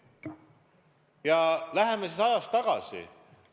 Ja läheme ajas tagasi.